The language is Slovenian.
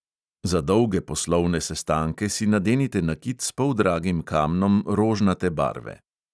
Za dolge poslovne sestanke si nadenite nakit s poldragim kamnom rožnate barve.